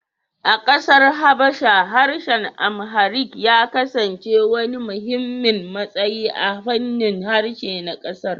A kasar Habasha, harshen Amharic ya kasance wani muhimmin matsayi a fannin harshe na kasar